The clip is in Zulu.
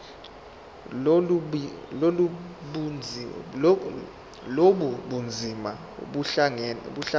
lobu bunzima buhlangane